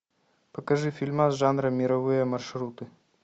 покажи фильмас жанра мировые маршруты